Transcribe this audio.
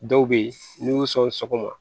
Dɔw bɛ yen n'i y'u sɔn sɔgɔma